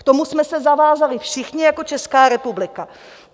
K tomu jsme se zavázali všichni jako Česká republika.